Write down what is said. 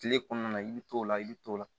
Kile kɔnɔna na i bɛ t'o la i bɛ t'o la